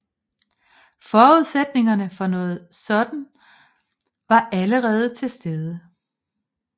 Forudsætningerne for noget sådan var allerede til stede